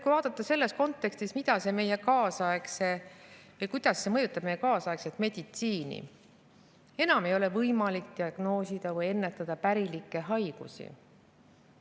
Kui vaadata selles kontekstis, kuidas see mõjutab meie kaasaegset meditsiini, siis enam ei ole võimalik diagnoosida või ennetada pärilikke haigusi.